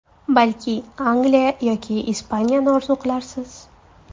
Balki Angliya yoki Ispaniyani orzu qilarsiz?